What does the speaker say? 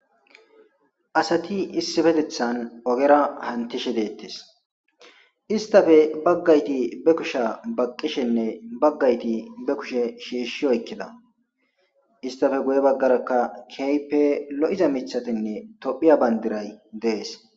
asati issifetethan ogera hantishe deettes istafe baggayti be kusha baqqishenne baggayti be kushe shiishshi oykkida istafe guye baggarakka keype lo7iza mithatinne tophiya bandiray dees